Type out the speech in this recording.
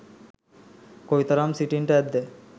කොයිතරම් සිටින්ට ඇද්ද?